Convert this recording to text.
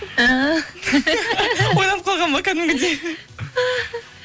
ойланып қалған ба кәдімгідей